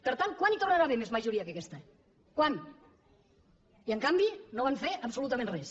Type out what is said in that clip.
per tant quan hi tornarà a haver més majoria que aquesta quan i en canvi no van fer absolutament res